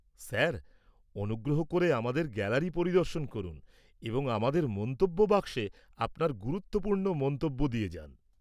-Sir, অনুগ্রহ করে আমাদের গ্যালারি পরিদর্শন করুন এবং আমাদের মন্তব্য বাক্সে আপনার গুরুত্বপূর্ণ মন্তব্য দিয়ে যান।